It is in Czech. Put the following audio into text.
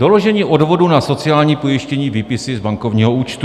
Doložení odvodu na sociální pojištění, výpisy z bankovního účtu.